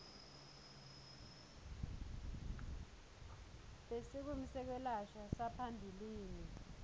besikimu setekwelashwa saphambilini